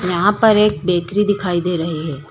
यहां पर एक बैकरी दिखाई दे रही है।